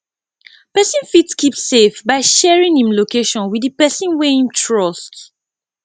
person fit keep safe by sharing im location with di person wey im trust